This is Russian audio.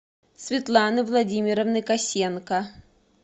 светланы владимировны косенко